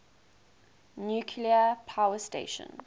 nuclear power station